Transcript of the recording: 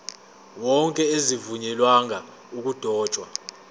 wonke azivunyelwanga ukudotshwa